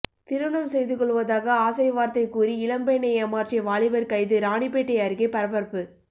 திருமணம் செய்து கொள்வதாக ஆசைவார்த்தை கூறி இளம்பெண்ணை ஏமாற்றிய வாலிபர் கைது ராணிப்பேட்டை அருகே பரபரப்பு